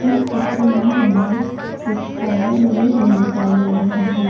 इस चित्र में हमें कुछ बैनर लगे हुए दिखाई दे रहे हैं।